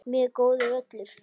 Mjög góður völlur.